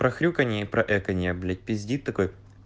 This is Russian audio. про хрюканье и про эканье блять пиздит такой